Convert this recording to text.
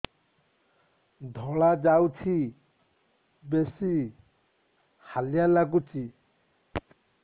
ଧଳା ଯାଉଛି ବେଶି ହାଲିଆ ଲାଗୁଚି